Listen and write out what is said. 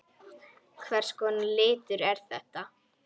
Hvers konar litur er þetta?